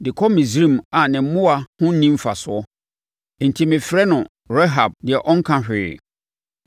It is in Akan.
de kɔ Misraim a ne mmoa ho nni mfasoɔ. Enti mefrɛ no Rahab, deɛ Ɔnka Hwee.